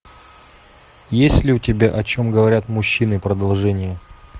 есть ли у тебя о чем говорят мужчины продолжение